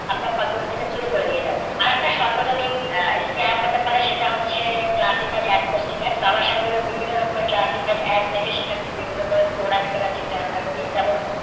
আপনার computer থেকে চুরি করে নিয়ে যাবে। আর একটা সার্বজনীন আহ scam হতে পারে সেটা হচ্ছে APP posting এর। cyber এর বিভিন্ন রকমএর APP দেখে সেখান থেকে বিভিন্ন রকম product কেনা যেটা আমরা করি যেমন